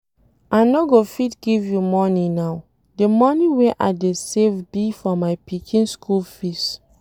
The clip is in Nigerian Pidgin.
I no go fit give you money now, the money wey I dey save be for my pikin school fees